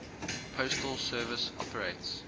postal service operates